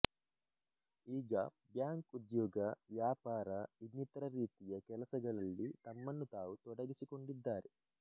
ಈಗ ಬ್ಯಾಂಕ್ ಉದ್ಯೋಗ ವ್ಯಾಪಾರ ಇನ್ನಿತರ ರೀತಿಯ ಕೆಲಸಗಳಲ್ಲಿ ತಮ್ಮನ್ನು ತಾವು ತೊಡಗಿಸಿಕೊಂಡಿದ್ದಾರೆ